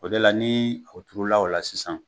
O de la ni o turu la, o la sisan